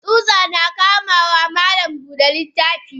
Tsuta na kamawa malam Buda littafi.